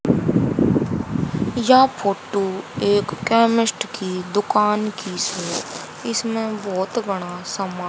यह फोटो एक केमिस्ट की दुकान की इसमें बहोत बड़ा समा--